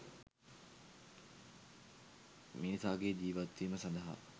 මිනිසාගේ ජීවත් වීම සඳහා